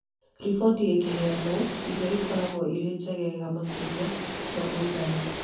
Riboti ĩkĩheanwo irio ikoragwo irĩ njegega makĩria ma mũigana